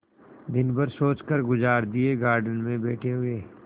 दिन भर सोचकर गुजार दिएगार्डन में बैठे हुए